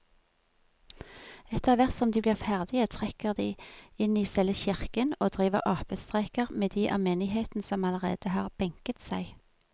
Etterthvert som de blir ferdige trekker de inn i selve kirken og driver apestreker med de av menigheten som allerede har benket seg.